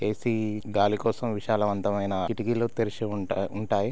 పలా గదులు చాలా పెద్దగా ఉంటాయి ఎ_సి